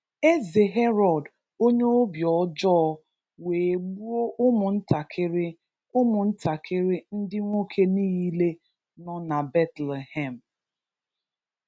Eze Herod onye obi ọjọọ wee gbuo ụmụ ntakịrị ụmụ ntakịrị ndị nwoke niile nọ na Bethlehem